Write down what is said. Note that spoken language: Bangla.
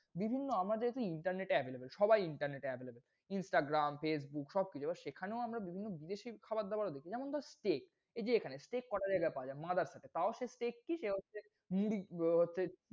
বিভিন্ন আমাদের তো Internet available সবাই Internet এ avaiable, Instagram, Facebook সবকিছু এবার সেখানেও আমরা বিভিন্ন বিদেশি খাবার দাবার, যেমন ধর steak এইযে এখানে steak কয়টা জায়গাই পাওয়া যায়। তাও সে steak কি সে হচ্ছে মুরগি~ব